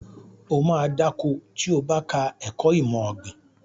Ó ma dá ko tí o bá ka ẹ̀kọ́ ìmọ̀ ọ̀gbìn